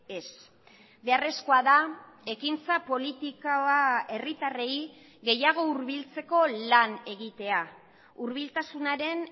ez beharrezkoa da ekintza politika herritarrei gehiago hurbiltzeko lan egitea hurbiltasunaren